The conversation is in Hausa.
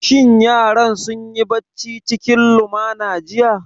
Shin yaran sun yi bacci cikin lumana jiya?